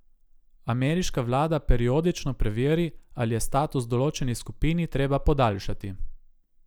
Ameriška vlada periodično preveri, ali je status določeni skupini treba podaljšati.